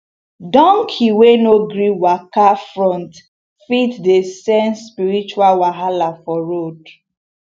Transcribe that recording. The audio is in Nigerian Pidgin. donkey wey no gree waka front fit dey sense spiritual wahala for road